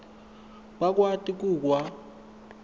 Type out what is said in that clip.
bakwati ku kwa